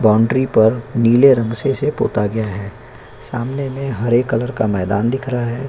Boundary पर नीले रंग इसे पोता गया है सामने मे हरे कलर का मैदान दिख रहा है।